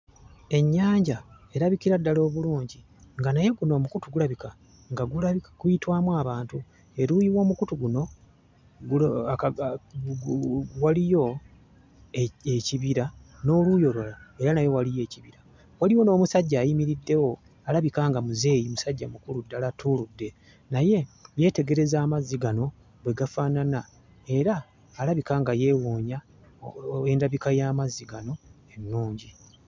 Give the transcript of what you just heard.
Ennyanja erabikira ddala obulungi nga naye guno omukutu gulabika nga gula guyitwamu abantu. Eruuyi w'omukutu guno waliyo ekibira n'oluuyi olulala era nayo waliyo ekibira. Waliwo n'omusajja ayimiriddewo, alabika nga muzeeyi, musajja mukulu ddala attuludde naye yeetegereza amazzi gano bwe gafaanana era alabaika nga yeewuunya endabika y'amazzi gano ennungi.